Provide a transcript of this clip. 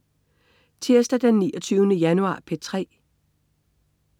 Tirsdag den 29. januar - P3: